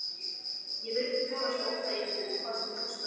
Ég vildi forðast óþægindi hvað sem það kostaði.